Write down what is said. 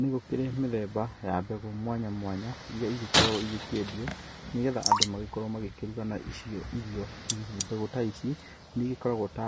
Nĩ gũkĩrĩ mĩthemba ya mbegu mwanya mwanya iria igĩkoragwo igĩkĩendio nĩ getha andũ magĩkorwo magĩkĩruga nacio irio. Mbegu ta ici nĩ igĩkoragwo ta